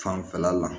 Fanfɛla la